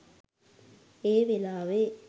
ඒ වෙලාවේ